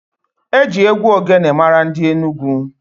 Eji egwu ogene mara ndị Enugwu.